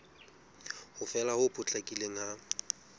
ho fela ho potlakileng ha